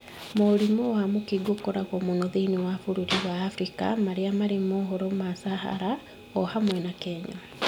Mũrimũ wa mũkingo ũkoragwo mũno thĩinĩ wa mabũrũri ma Afrika marĩa marĩ mũhuro wa Sahara, o hamwe na Kenya.